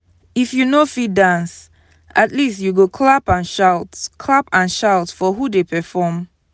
if you no fit dance at least you clap and shout clap and shout for who dey perform.